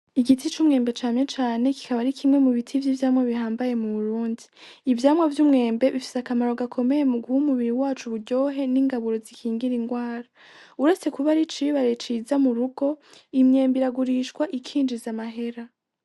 Igiti c'umwembe cane cane kikaba ari kimwe mu biti vy'ivyamwa bihambaye mu Burundi. Ivyamwa vy'umwembe bifise akamaro gakomeye mu guha umubiri wacu uburyohe n'ingaburo zikingira indwara. Uretse kuba ari icibare ciza mu rugo, imyembe iragurishwa ikinjiza amahera.